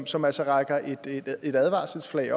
som altså hejser et advarselsflag